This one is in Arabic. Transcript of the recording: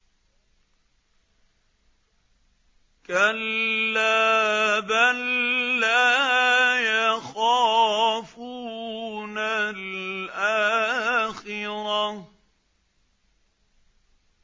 كَلَّا ۖ بَل لَّا يَخَافُونَ الْآخِرَةَ